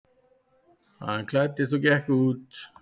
Hann klæddist og gekk út.